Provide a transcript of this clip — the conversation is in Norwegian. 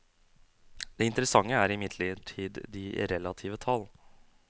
Det interessante er imidlertid de relative tall.